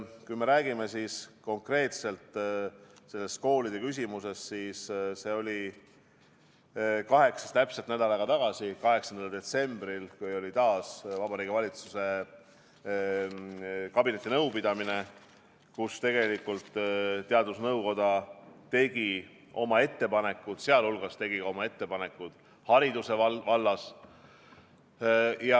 Kui me räägime konkreetselt sellest koolide küsimusest, siis see oli täpselt nädal aega tagasi, 8. detsembril, kui oli taas Vabariigi Valitsuse kabinetinõupidamine, kus tegelikult teadusnõukoda tegi oma ettepanekud, sealhulgas tegi oma ettepanekud hariduse vallas.